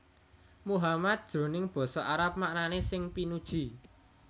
Muhammad jroning basa Arab maknané sing pinuji